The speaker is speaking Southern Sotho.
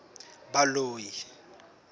baloi